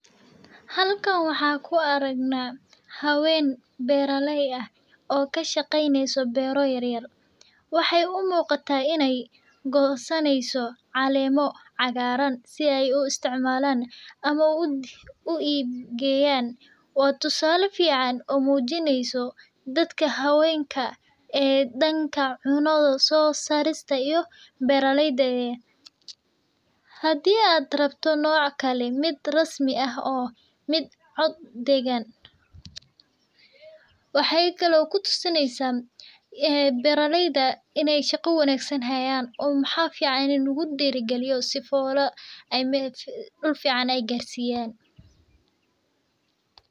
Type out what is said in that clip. Halkan waxaan ku aragnaa habeen beerakey ah oo ka shaqeyneysa beera yaryar waxeey gosani haysa caleema yar waa tusaale fican hadii aad rabto nooc kale oo dahan shaqa fican ayeey haayan waxa fican in la diiri galiyo.